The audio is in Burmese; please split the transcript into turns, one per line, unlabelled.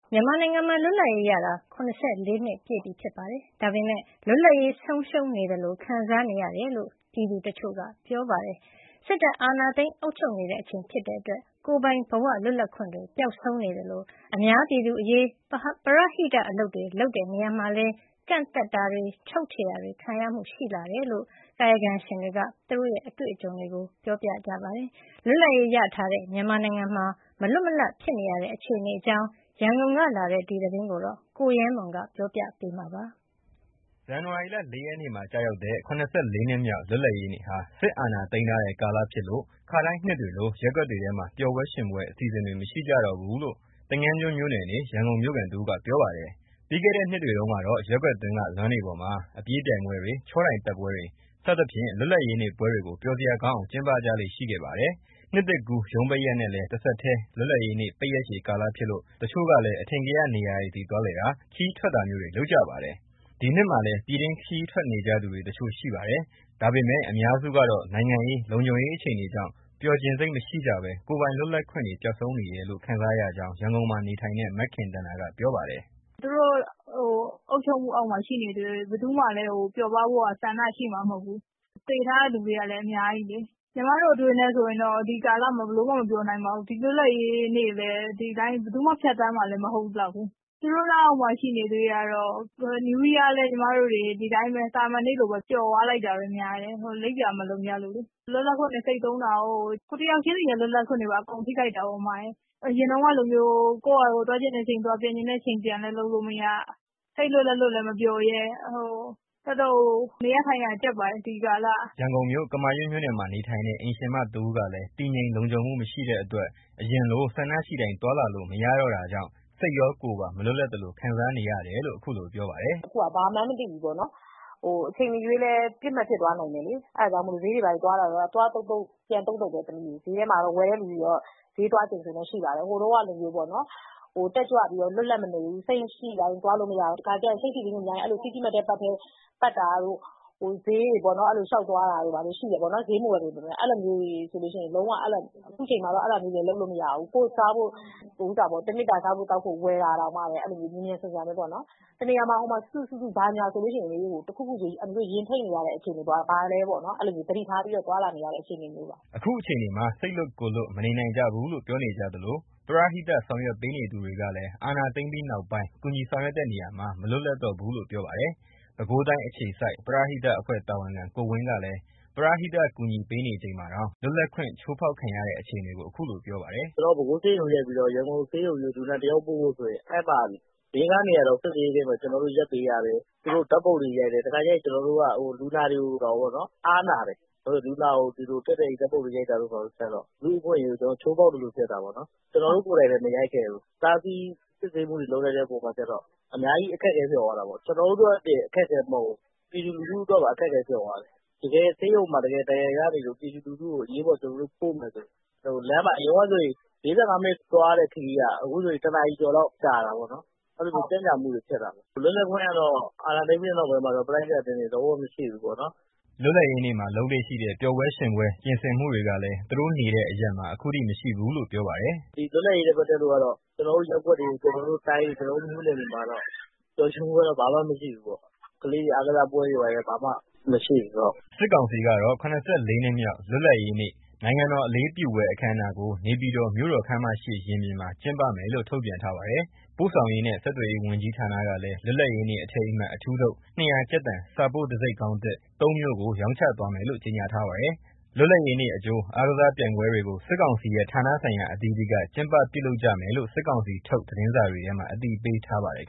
မြန်မာနိုင်ငံမှာ လွတ်လပ်ရေးရတာ ၇၄ နှစ်ပြည့်ချိန်၊ လွတ်လပ်ရေး ဆုံးရှုံးနေသလို ခံစားနေရတယ်လို့ ပြည်သူတချို့က ပြောပါတယ်။ စစ်တပ်အာဏာသိမ်း အုပ်ချုပ်နေချိန်ဖြစ်လို့ ကိုယ်ပိုင်ဘဝ လွတ်လပ်ခွင့်တွေ ပျောက်ဆုံးနေသလို၊ အများပြည်သူအရေး ပရဟိတအလုပ်တွေ လုပ်တဲ့နေရာမှာလည်း ကန့်သတ်ချုပ်ချယ်ခံရမှုတွေ ရှိလာတယ်လို့ ကာယကံရှင်တွေက သူတို့ရဲ့အတွေ့အကြုံတွေကို ပြောပါတယ်။ လွတ်လပ်ရေးရထားတဲ့ မြန်မာနိုင်ငံမှာ မလွတ်မလပ်ဖြစ်နေတဲ့ အခြေအနေအကြောင်း ရန်ကုန်ကလာတဲ့ ဒီသတင်းကို ကိုရဲမွန်က ပြောပြမှာပါ
။ ဇန်နဝါရီလ ၄ရက်နေ့မှာ ကျရောက်တဲ့ ၇၄ နှစ်မြောက် လွတ်လပ်ရေးနေ့ဟာ စစ်အာဏာသိမ်းထားတဲ့ ကာလဖြစ်လို့ ခါတိုင်းနှစ်တွေလို ရပ်ကွက်တွေထဲမှာ ပျော်ပွဲရွှင်ပွဲ အစီအစဉ်တွေ မရှိကြတော့ဘူးလို့ သင်္ကန်းကျွန်းမြို့နယ်နေ ရန်ကုန်မြို့ခံတဦးက ပြောပါတယ်။ ပြီးခဲ့တဲ့ နှစ်တွေတုန်းကတော့ ရပ်ကွက်တွင်းက လမ်းတွေပေါ်မှာ အပြေးပြိုင်ပွဲတွေ၊ ချောတိုင်တက်ပွဲတွေ စသဖြင့် လွတ်လပ်ရေးနေ့ ပွဲတွေကို ပျော်စရာကောင်းအောင် ကျင်းပကြလေ့ရှိခဲ့ပါတယ်။ နှစ်သစ်ကူးရုံးပိတ်ရက်နဲ့ တဆက်တည်း လွတ်လပ်ရေးနေ့ ပိတ်ရက်ရှည်ကာလဖြစ်လို့ တချို့ကလည်း အထင်ကရနေရာတွေဆီ သွားလည်တာ၊ ခရီးထွက်တာမျိုးတွေ လုပ်ကြပါတယ်။ ဒီနှစ်မှာလည်း ပြည်တွင်းခရီးထွက်နေကြသူ တချို့ရှိပါတယ်။ ဒါပေမဲ့ အများစုကတော့ နိုင်ငံရေး၊ လုံခြုံရေးအခြေအနေကြောင့် ပျော်ချင်စိတ်မရှိကြဘဲ ကိုယ်ပိုင်လွတ်လပ်ခွင့်တွေ ပျောက်ဆုံးနေတယ်လို့ ခံစားနေရကြောင်း ရန်ကုန်မှာနေထိုင်တဲ့ မခင်သန္တာကပြောပါတယ်။
"သူတို့ အုပ်ချုပ်မှုအောက်မှာ ရှိနေသ၍ ဘယ်သူမှလည်း ပျော်ပါးဖို့က ဆန္ဒရှိမှာမဟုတ်ဘူး။ သေထားတဲ့လူတွေကလည်း အများကြီးလေ။ ညီမတို့အတွေးနဲ့ဆိုရင်တော့ ဒီကာလမှာ ဘယ်လိုမှမပျော်နိုင်ပါဘူး။ ဒီလွတ်လပ်ရေးနေ့လည်း ဘယ်သူမှလည်း ဖြတ်သန်းမှာမဟုတ်လောက်ဘူး။ သူတို့လက်အောက်မှာ ရှိနေသ၍ကတော့ New Year လည်း ညီမတို့တွေ သာမန်နေ့လိုပဲ ကျော်သွားလိုက်တာပဲ၊ လိပ်ပြာမလုံကြလို့လေ။ လွတ်လပ်ခွင့်တွေ သေဆုံးတာကို၊ ကိုယ်တယောက်ချင်းစီရဲ့ လွတ်လပ်ခွင့်တွေပါ သေဆုံးတာပေါ့။ အရင်တုန်းကလိုမျိုး ကိုယ့်ဟာကိုယ် သွားချင်တဲ့အချိန်သွား၊ ပြန်ချင်တဲ့အချိန်ပြန် လုပ်လို့မရ၊ စိတ်လွတ်လက်လွတ်လည်း မပျော်ရဲ၊ တော်တော်ကို နေရထိုင်ရကြပ်ပါတယ်၊ ဒီကာလက။
" ရန်ကုန်မြို့၊ ကမာရွတ်မြို့နယ်မှာ နေထိုင်တဲ့ အိမ်ရှင်မတဦးကလည်း တည်ငြိမ်လုံခြုံမှု မရှိတဲ့အတွက် အရင်လို ဆန္ဒရှိတိုင်း သွားလာလို့မရတော့တာကြောင့် စိတ်ရော ကိုယ်ပါ မလွတ်လပ်သလို ခံစားနေရတယ်လို့ ခုလိုပြောပါတယ်။ "အ
ခုဟာက ဘာမှန်းမသိဘူးပေါ့နော်။ အချိန်မရွေးလည်း ပစ်မှတ်ဖြစ်သွားနိုင်တယ်လေ။ အဲဒါကြောင့်မို့လို့ ဈေးတွေဘာတွေသွားတာတောင် သွားသုတ်သုတ် ပြန်သုတ်သုတ်ပဲ။ ဈေးထဲမှာ ဝယ်တဲ့သူကတော့ ဈေးသွားချိန်ဆိုရှိပါတယ်။ ဟိုတုန်းကလိုမျိုးတော့ တက်ကြွပြီးတော့ လွတ်လပ်မနေဘူး။ စိတ်ရှိတိုင်း သွားလို့မရဘူး။ တခါတလေကျလို့ရှိရင် စိတ်ဖိစီးမှုများတဲ့အခါ စီးတီးမတ်ထဲပတ်တာတို့၊ ဈေးတွေထဲ လျှောက်သွားတာတို့ ဘာတို့ ဈေးမဝယ်ပေမယ့် ရှိတယ်ပေါ့နော်။ အခုချိန်မှာတော့ အဲဒါမျိုးတွေ လုပ်လို့မရဘူး။ တနေ့တာ စားသောက်ဖို့ ဝယ်တာတောင်မှပဲ မြန်မြန်ဆန်ဆန်ပေါ့နော်။ တနေရာမှာ စုစု စုစုဆိုရင် အန်တီတို့ရင်ထိတ်နေရတဲ့ အခြေအနေ၊ ဘာလဲပေါ့နော်၊ အဲလိုမျိုး သတိထားပြီးတော့ သွားလာနေရတဲ့ အခြေအနေမျိုးပါ
။" အခုအခြေအနေမှာ စိတ်လွတ် ကိုယ်လွတ် မနေနိုင်ကြဘူးလို့ ပြောနေကြသလို ပရဟိတဆောင်ရွက်ပေးနေသူတွေကလည်း အာဏာသိမ်းပြီးနောက်ပိုင်း ကူညီဆောင်ရွက်တဲ့နေရာမှာ မလွတ်လပ်တော့ဘူးလို့ ပြောပါတယ်။ ပဲခူးတိုင်းအခြေစိုက် ပရဟိတအဖွဲ့တာဝန်ခံ ကိုဝင်းကဆိုရင် ပရဟိတအကူအညီပေးနေချိန်မှာတောင် လွတ်လပ်ခွင့် ချိုးဖောက်ခံရတဲ့ အခြေအနေကို ခုလိုပြောပါတ
ယ်။ "ကျနော်တို့ ပဲခူးဆေးရုံကနေ ရန်ကုန်ဆေးရုံကြီးကို လူနာတယောက်ပို့ဖို့ဆိုရင် လမ်းမှာ စစ်ဆေးရေးဂိတ် ၄၊ ၅ နေရာလောက် ရပ်ပေးရတယ်။ သူတို့ ဓာတ်ပုံတွေရိုက်တယ်။ တခါတလေကျရင် ကျနော်တို့က လူနာတွေကိုတောင် အားနာတယ်။ ဘာလို့ဆို လူနာကို ဒီလိုတည့်တည့်ကြီး ဓာတ်ပုံရိုက်တာကျတော့ လူ့အခွင့်အရေးကို ကျနော်တို့ချိုးဖောက်သလို ဖြစ်တာပေါ့နော်။ ကျနော်တို့ကိုယ်တိုင်လည်း မရိုက်ခဲ့ဘူး။ တားဆီးစစ်ဆေးမှုတွေ လုပ်လိုက်တဲ့အပေါ်မှာကျတော့ အများကြီးအခက်အခဲဖြစ်သွားတာပေါ့။ ကျနော်တို့အတွက်တင် အခက်အခဲမဟုတ်ဘူး။ ပြည်သူလူထုအတွက်ပါ အခက်အခဲဖြစ်သွားတယ်။ တကယ်ဆေးရုံမှာ ဒဏ်ရာရနေလို့ ပြည်သူလူထုကိုလိုလို့ ပို့မယ်ဆိုရင် အရင်တုန်းက ၄၅ မိနစ် သွားရတဲ့ခရီးက အခုဆိုရင် ၁ နာရီကျော်လောက် ကြာတာပေါ့နော်။ အဲလိုမျိုး ကြန့်ကြာမှုတွေ ဖြစ်တာပေါ့။ အာဏာသိမ်းပြီးတဲ့ နောက်ပိုင်းမှာတော့ ပရဟိတအသင်းတွေ လွတ်လပ်ခွင့်ကတော့ လုံးဝ
မရှိဘူးပေါ့နော်။" လွတ်လပ်ရေးနေ့မှာ လုပ်လေ့ရှိတဲ့ ပျော်ပွဲ ရွှင်ပွဲပြင်ဆင်မှုတွေလည်း သူတို့နေတဲ့အရပ်မှာ ခုထိ မရှိဘူးလို့ပြောပါတယ်။
"ဒီလွတ်လပ်ရေးနဲ့ ပတ်သက်လို့ကတော့ ကျနော်တို့ရပ်ကွက်တွေ၊ ကျနော်တို့တိုင်းတွေ၊ ကျနော်တို့မြို့နယ်တွေမှာတော့ ပျော်ရွှင်မှုကတော့ ဘာမှမရှိဘူးပေါ့။ ကလေးတွေ အားကစားပွဲတွေ ဘာတွေလည်း အခုချိန်
ထိ ဘာမှမရှိဘူး။" စစ်ကောင်စီကတော့ ၇၄ နှစ်မြောက် လွတ်လပ်ရေးနေ့ နိုင်ငံတော်အလံ အလေးပြုပွဲ အခမ်းအနားကို နေပြည်တော် မြို့တော်ခန်းမရှေ့ရင်ပြင်မှာ ကျင်းပမယ်လို့ ထုတ်ပြန်ထားပါတယ်။ ပို့ဆောင်ရေးနဲ့ ဆက်သွယ်ရေးဝန်ကြီးဌာနကလည်း လွတ်လပ်ရေးနေ့အထိမ်းအမှတ် အထူးထုတ် ၂၀၀ ကျပ်တန် စာပို့တံဆိပ်ခေါင်းသစ် သုံးမျိုးကို ရောင်းချသွားမယ်လို့ ကြေညာထားပါတယ်။ လွတ်လပ်ရေးနေ့အကြို အားကစားပြိုင်ပွဲတွေကို စစ်ကောင်စီရဲ့ ဌာနဆိုင်ရာအသီးသီးက ကျင်းပပြုလုပ်ကြမယ်လို့ စစ်ကောင်စီထုတ် သတင်းစာတွေထဲမှာ အ
သိပေးထားပါတယ်။